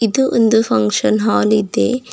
ಇದು ಒಂದು function hall ಇದೆ.